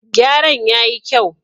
Gyaran ya yi kyau.